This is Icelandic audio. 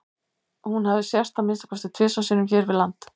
hún hefur sést að minnsta kosti tvisvar sinnum hér við land